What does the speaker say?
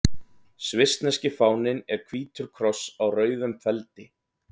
Svissneski fáninn er hvítur kross á rauðum feldi.